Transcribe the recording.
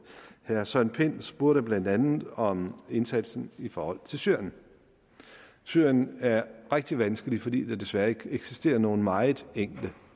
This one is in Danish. herre søren pind spurgte blandt andet om indsatsen i forhold til syrerne syrien er rigtig vanskelig fordi der desværre ikke eksisterer nogen meget enkle